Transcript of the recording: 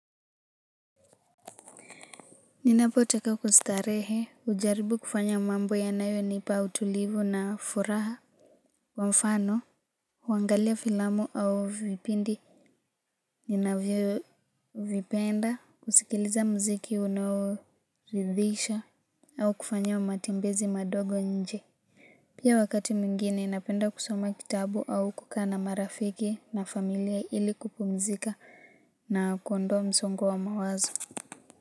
Ninapotaka kustarehe hujaribu kufanya mambo yanayonipa utulivu na furaha kwa mfano huangalia filamu au vipindi ninavyovipenda, kusikiliza mziki unoridhisha au kufanya matembezi madogo nje. Pia wakati mwingine napenda kusoma kitabu au kukaa na marafiki na familia ili kupumzika na kuondoa msongo wa mawazo.